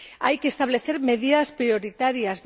Hay que establecer medidas prioritarias